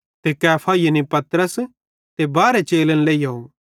ते कैफा यानी पतरस ते बारहे चेलन लेइहोव